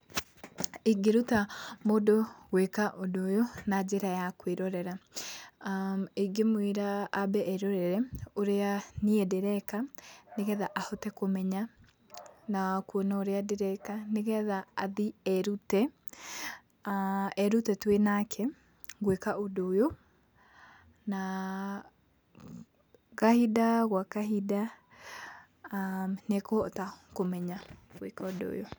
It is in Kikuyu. Ingĩruta mũndũ gwĩka ũndũ ũyũ na njĩra ya kwĩrorera, ingĩmwĩra ambe erorere, ũrĩa niĩ ndĩreka, nĩgetha ahote kũmenya na kuona ũrĩa ndĩreka, nĩgetha athiĩ erute, erute twĩ nake gwĩka ũndũ ũyũ, na kahinda gwa kahinda nĩ ekũhota kũmenya gwĩka ũndũ ũyũ.